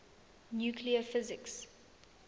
nuclear physics